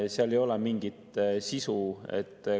Seal ei ole mingit sisu.